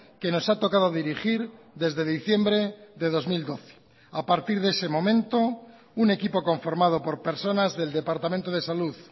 que nos ha tocado dirigir desde diciembre de dos mil doce a partir de ese momento un equipo conformado por personas del departamento de salud